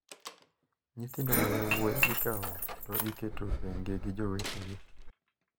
Nyithindo ma yowuoyi ikawo to iketo tenge gi jowetegi.